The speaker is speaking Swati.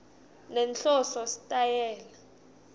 nenhloso sitayela